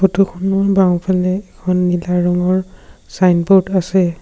Photo খনৰ বাওঁফালে এখন নীলা ৰঙৰ ছাইনব'ৰ্ড আছে।